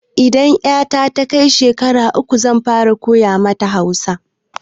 Idan 'yata ta kai shekara uku zan fara koya mata Hausa.